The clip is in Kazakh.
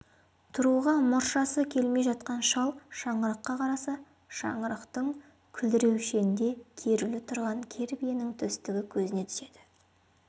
тұруға мұршасы келмей жатқан шал шаңыраққа қараса шаңырақтың күлдіреуішінде керулі тұрған кер биенің төстігі көзіне түседі